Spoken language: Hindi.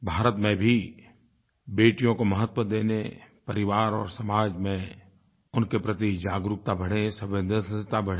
भारत में भी बेटियों को महत्व देने परिवार और समाज में उनके प्रति जागरूकता बढ़े संवेदनशीलता बढ़े